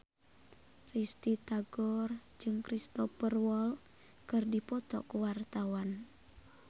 Risty Tagor jeung Cristhoper Waltz keur dipoto ku wartawan